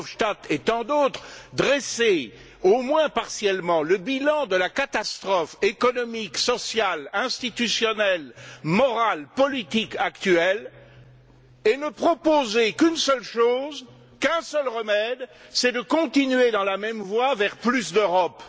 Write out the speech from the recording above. Verhofstadt et tant d'autres, dresser, au moins partiellement, le bilan de la catastrophe économique, sociale, institutionnelle, morale, politique, actuelle et ne proposer qu'une seule chose, qu'un seul remède continuer dans la même voie vers plus d'Europe.